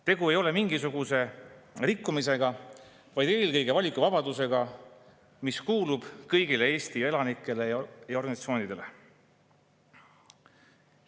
Tegu ei ole mingisuguse rikkumisega, vaid eelkõige valikuvabadusega, mis kuulub kõigile Eesti elanikele ja organisatsioonidele.